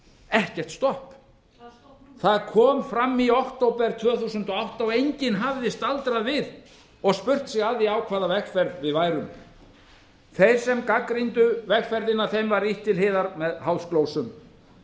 ekkert stopp það kom fram í október tvö þúsund og átta og enginn hafði staldrað við og spurt sig að því á hvaða vegferð við værum þeim sem gagnrýndu vegferðina var ýtt til hliðar með háðsglósum